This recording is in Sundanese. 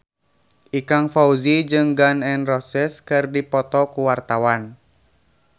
Ikang Fawzi jeung Gun N Roses keur dipoto ku wartawan